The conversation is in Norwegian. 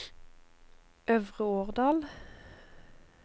Øvre Årdal